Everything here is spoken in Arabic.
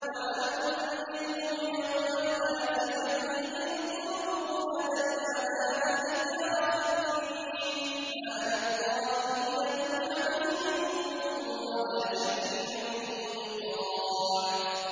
وَأَنذِرْهُمْ يَوْمَ الْآزِفَةِ إِذِ الْقُلُوبُ لَدَى الْحَنَاجِرِ كَاظِمِينَ ۚ مَا لِلظَّالِمِينَ مِنْ حَمِيمٍ وَلَا شَفِيعٍ يُطَاعُ